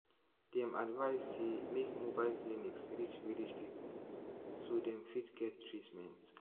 dem advise say make mobile clinics reach village people so dem fit get treatment.